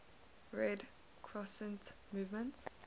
red crescent movement